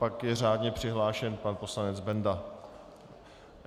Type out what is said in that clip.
Pak je řádně přihlášen pan poslanec Benda.